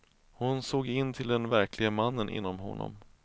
Hon såg in till den verklige mannen inom honom.